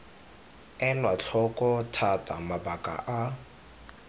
elwa tlhoko thata mabaka a